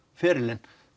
ferilinn